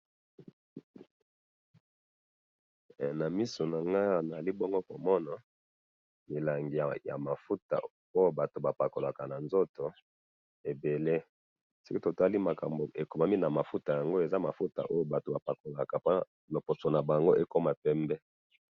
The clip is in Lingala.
Na misu na nga awa nazali bongo milangi ya mafuta oyo batu bapakolaka na nzoto ebele ,soki totali makambo ekomami na mafuta yango eza mafuta oyo batu bapakolaka pona loposo na bango ekoma pembe